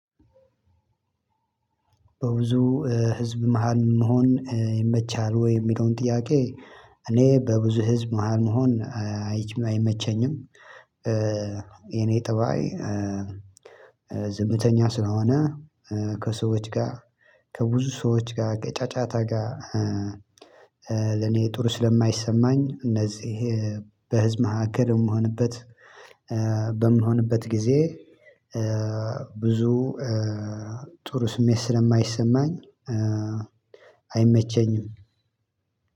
በብዙ ህዝብ መሃል መሆን ይመቻሃል ወይ የሚለውን ጥያቄ? እኔ በብዙ ህዝብ መሃል መሆን አይች አይመቸኝም። የኔ ፀባይ ዝምተኛ ስለሆነ ከሰዎች ጋር ከብዙ ሰዎች ጋር ከጫጫታ ጋር። ለኔ ጥሩ ስለማይሰማኝ እነዚህ በህዝብ መካከል የምሆንበት በምሆንበት ጊዜ ብዙ ጥሩ ስሜት ስለማይሰማኝ። አይመቸኝም።